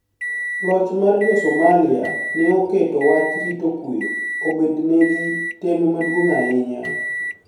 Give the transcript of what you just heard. Loch mar Jo-Somalia ni e oketo wach rito kuwe obedni egi tem maduonig' ahiniya